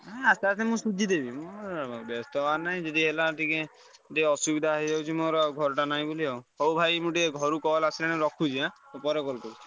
ଆସ୍ତେ ଆସ୍ତେ ମୁଁ ସୁଝି ଦେବି ବେସ୍ତ ହବାର ନାହିଁ ଯଦି ହେଲା ଟିକେ ଟିକେ ଅସୁବିଧା ହେଇଯାଉଛି ମୋର ଆଉ ଘରଟା ନାଇଁ ବୋଲି ଆଉ। ହଉ ଭାଇ ମୁଁ ଟିକେ ଘରୁ call ଆସିଲାଣି ରଖୁଛି ଆଁ ପରେ call କରୁଛି।